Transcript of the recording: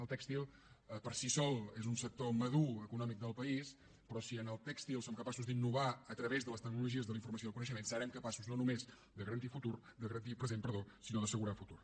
el tèxtil per si sol és un sector madur econòmic del país però si en el tèxtil som capaços d’innovar a través de les tecnologies de la informació i el coneixement serem capaços no només de garantir present sinó d’assegurar futur